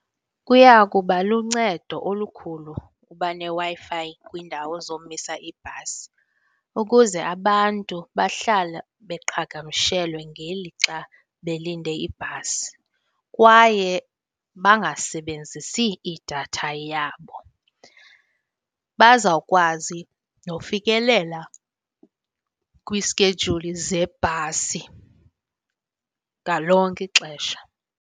Kuya kuba luncedo olukhulu uba neWi-Fi kwindawo zomisa iibhasi ukuze abantu bahlale beqhagamshelwe ngelixa belinde ibhasi kwaye bangasebenzisi idatha yabo. Bazawukwazi nofikelela kwiskejuli zebhasi ngalonke ixesha.